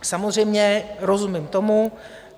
Samozřejmě, rozumím tomu...